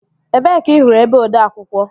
Ebee ka ị hụrụ ebe odeakwụkwọ?